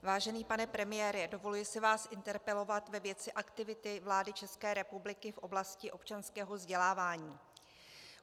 Vážený pane premiére, dovoluji si vás interpelovat ve věci aktivity vlády České republiky v oblasti občanského vzdělávání.